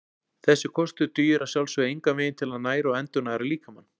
Þessi kostur dugir að sjálfsögðu engan veginn til að næra og endurnæra líkamann.